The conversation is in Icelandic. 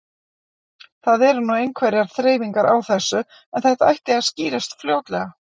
Það eru nú einhverjar þreifingar á þessu en þetta ætti að skýrast fljótlega.